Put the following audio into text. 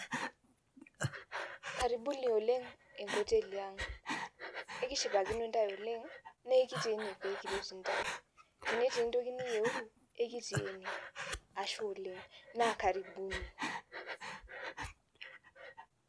Karibuni oleng enkoteli aang, ekishipakinobntae oleng nekitii ene pekiret ntae, tenetii entoki niyeu ekitii ene ashe oleng na karibuni